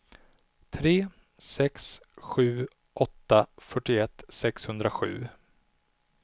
tre sex sju åtta fyrtioett sexhundrasju